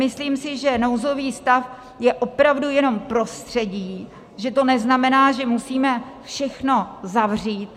Myslím si, že nouzový stav je opravdu jenom prostředí, že to neznamená, že musíme všechno zavřít.